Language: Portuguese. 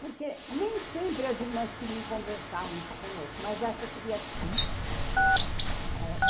Porque nem sempre as irmãs queriam conversar muito conosco, mas essa queria sempre, ãh